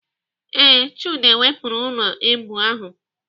Ee, Chude wepụrụ ụlọ èbù ahụ.